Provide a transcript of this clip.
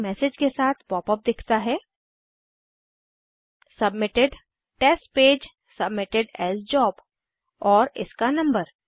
एक मैसेज के साथ पॉप अप दिखता है submitted - test page submitted as job और इसका नंबर